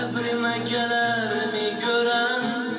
Qəbrimə gələrmi görən?